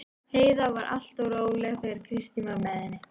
Heiða var alltaf svo róleg þegar Kristín var með henni.